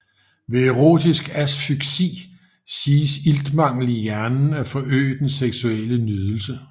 Ved erotisk asfyksi siges iltmangel i hjernen at forøge den seksuelle nydelse